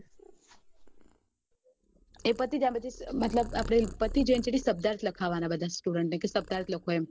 એ પતિ જાય પછી મતલબ આપડે પતિ જાય એના ચેડે શબ્દાર્થ લખાવના બધા ને શબ્દાર્થ લખો એમ